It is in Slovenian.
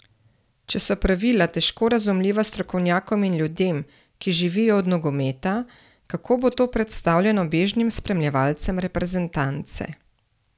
Če so pravila težko razumljiva strokovnjakom in ljudem, ki živijo od nogometa, kako bo to predstavljeno bežnim spremljevalcem reprezentance?